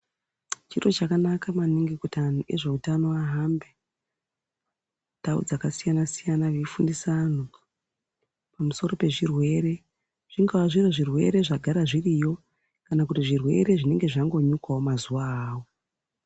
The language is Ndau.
Chiro chakanaka maningi kuti antu ezveutano ahambe mundau dzakasiyana-siyana veifundisa anthu pamusoro pezvirwere zvingaa zviri zvirwere zvagara zviriyo kana kuti zvirwere zvinenge zvangonyukawo mazuwa awawo.